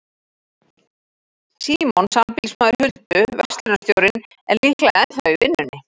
Símon, sambýlismaður Huldu, verslunarstjórinn, er líklega ennþá í vinnunni.